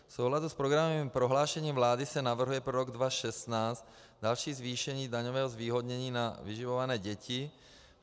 V souladu s programovým prohlášením vlády se navrhuje pro rok 2016 další zvýšení daňového zvýhodnění na vyživované děti.